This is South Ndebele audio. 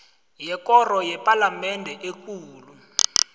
yekoro yepalamende ekulu